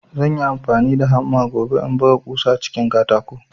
Zanyi amfani da hamma gobe in buga ƙusa a cikin katako